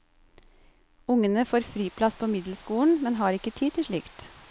Ungene får friplass på middelskolen, men har ikke tid til slikt.